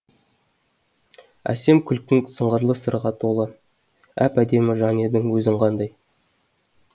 әсем күлкің сыңғырлы сырға толы әп әдемі жан едің өзің қандай